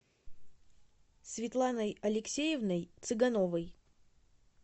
светланой алексеевной цыгановой